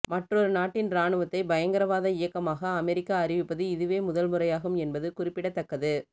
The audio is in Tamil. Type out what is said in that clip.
மற்றொரு நாட்டின் ராணுவத்தை பயங்கரவாத இயக்கமாக அமெரிக்கா அறிவிப்பது இதுவே முதல் முறையாகும் என்பது குறிப்பிடத்தக்கது